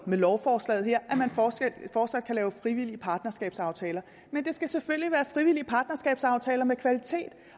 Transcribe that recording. med lovforslaget her at man fortsat fortsat kan lave frivillige partnerskabsaftaler men det skal selvfølgelig være frivillige partnerskabsaftaler med kvalitet